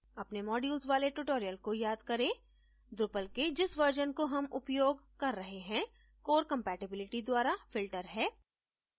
अपने modules वाले tutorial को याद करें drupal के जिस version को हम उपयोग कर रहे हैं core compatibility द्वारा filter है